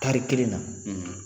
Tari kelen na